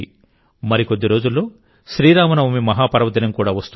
మరికొద్ది రోజుల్లో శ్రీరామ నవమి మహాపర్వదినం కూడా వస్తోంది